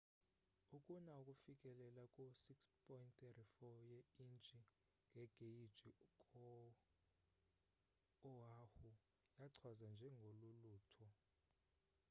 ukuna ofikelela ku 6.34 ye intshi ngegeyji kwo oahu yachazwa njenge lulutho